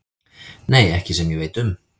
Nei, ekki sem ég veit um.